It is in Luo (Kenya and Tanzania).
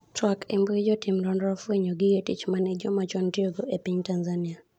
twak embui jotim nonro ofwenyo gige tich mane joma chon tiyogo e piny Tanzania